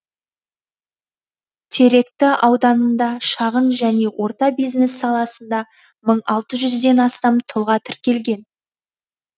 теректі ауданында шағын және орта бизнес саласында мың алты жүзден астам тұлға тіркелген